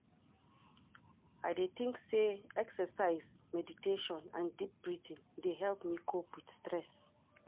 I dey think say exercise, meditation and deep breathing dey help me cope with stress.